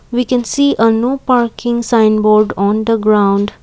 we can see a no parking sign board on the ground.